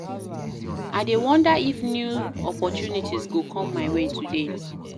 I dey wonder if new opportunities go come my way today.